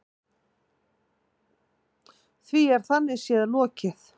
Því er þannig séð lokið.